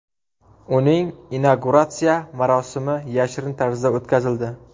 Uning inauguratsiya marosimi yashirin tarzda o‘tkazildi.